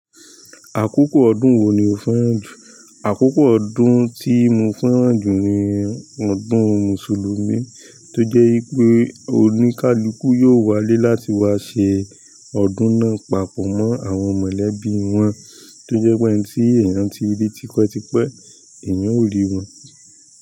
Àkókò òdun wo ni o fẹ́ràn jù? Àkókò ọdún tí mo fẹ́ràn jù ni ọdún mùsùlùmí toje wípé oni kaluku yó wá ilé láti wá ṣe ọdún náà papọ̀ mọ́ àwọn mọ̀lẹ́bí wọn tó jẹ́ pé ẹni tí èèyàn tí rí tipẹ́ tipẹ́ èèyàn ó rí wọn.